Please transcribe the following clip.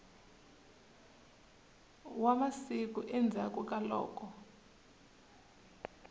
wa masiku endzhaklu ka loko